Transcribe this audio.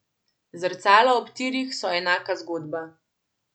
Zrcala ob tirih so enaka zgodba.